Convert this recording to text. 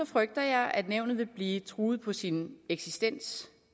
frygter jeg at nævnet vil blive truet på sin eksistens